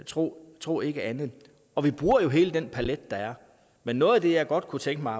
tro tro ikke andet og vi bruger jo hele den palet der er men noget af det jeg godt kunne tænke mig